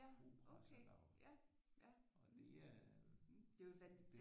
Ja okay ja ja det er jo et